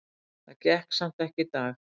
Það gekk samt ekki í dag.